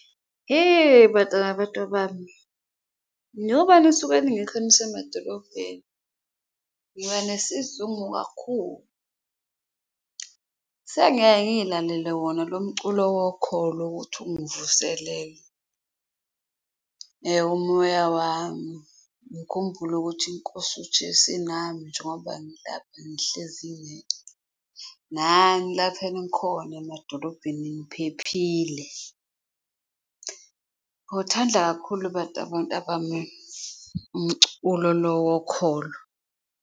Hheyi, bantwana bantabami ngoba nisuke ningekho nisemadolobheni ngiba nesizungu kakhulu, sengiyaye ngiyilalele wona lo mculo wokholo ukuthi ungivuselele umoya wami. Ngikhumbule ukuthi iNkosi uJesu inami njengoba ngilapha ngihlezi ngedwa nani lapho enikhona emadolobheni niphephile, ngiwuthanda kakhulu bantwa bantabami umculo lo wokholo.